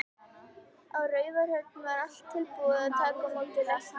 Á Raufarhöfn var allt tilbúið að taka á móti lækni.